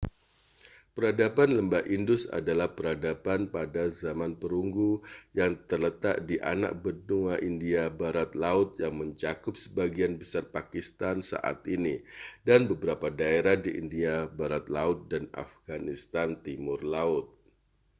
peradaban lembah indus adalah peradaban pada zaman perunggu yang terletak di anak benua india barat laut yang mencakup sebagian besar pakistan saat ini dan beberapa daerah di india barat laut dan afghanistan timur laut